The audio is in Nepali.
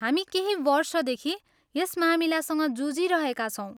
हामी केही वर्षदेखि यस मामिलासँग जुझिरहेका छौँ।